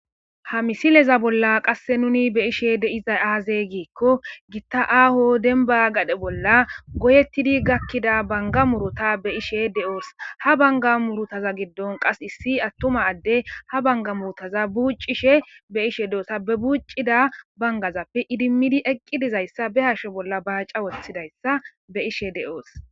Ha misileza bolla qasse nuni be ishe deizay aaze giikko gitta aaho denba gadhe bolla goyettidi gakkida banga murota be ishe de'oos ha banga murutaza giddon qas issi attuma adde ha banga muotaza buucishe be ishe deota be buuccida bangazappe idimmidi eqqi dizayssa be hashe bolla baaca wothidayssa be ishe de'oos.